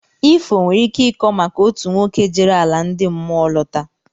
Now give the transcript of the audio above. Ifo nwere ike ịkọ maka otu nwoke jere ala ndị mmụọ lọta